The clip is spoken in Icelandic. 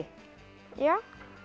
já